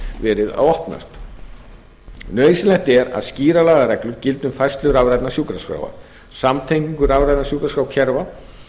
verið að opnast nauðsynlegt er að skýrar lagareglur gildi um færslu rafrænna sjúkraskráa samtengingu rafrænna sjúkraskrárkerfa